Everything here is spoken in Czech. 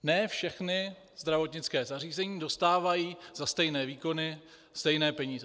Ne všechna zdravotnická zařízení dostávají za stejné výkony stejné peníze.